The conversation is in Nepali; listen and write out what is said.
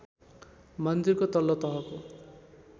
मन्दिरको तल्लो तहको